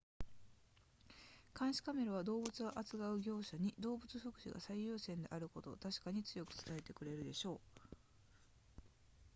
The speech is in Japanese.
「監視カメラは動物を扱う業者に、動物福祉が最優先であることを確かに強く伝えてくれるでしょう」